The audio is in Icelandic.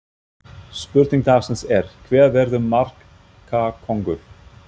Spurning dagsins er: Hver verður markakóngur?